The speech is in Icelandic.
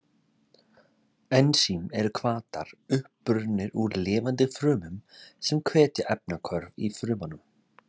Ensím eru hvatar, upprunnir úr lifandi frumum, sem hvetja efnahvörf í frumunum.